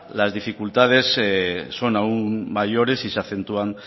las dificultades son aún mayores y se acentúan